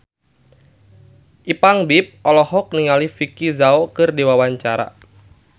Ipank BIP olohok ningali Vicki Zao keur diwawancara